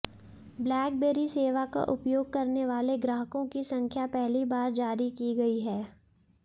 blackberry सेवा का उपयोग करने वाले ग्राहकों की संख्या पहली बार जारी की गई है